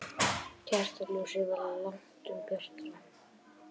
Kertaljósið var langtum bjartara.